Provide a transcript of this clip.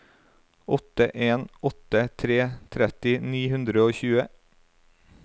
åtte en åtte tre tretti ni hundre og tjue